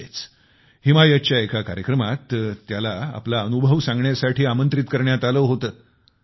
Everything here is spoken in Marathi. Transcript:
अलीकडेच हिमायातच्या एका कार्यक्रमात त्यांना आपला अनुभव सांगण्यासाठी आमंत्रित करण्यात आले होते